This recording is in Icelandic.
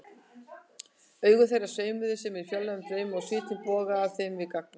Augu þeirra sveimuðu sem í fjarlægum draumi og svitinn bogaði af þeim við gagnaugun.